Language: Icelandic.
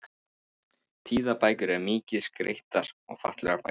Tíðabækur eru mikið skreyttar og fallegar bækur.